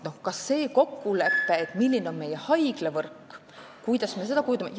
Mõtleme ka kokkuleppele, milline on meie haiglavõrk, kuidas me seda kujundame.